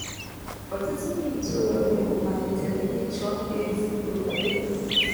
Ọtụtụ ndị ntorobịa malitere ịchọ ezi okpukpere.